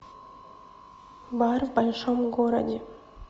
бар в большом городе